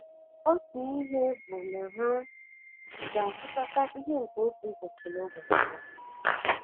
Otu ihe bụ na ha ga - achịkọta ihe nke otu ụbọchị n’ụbọchị ya.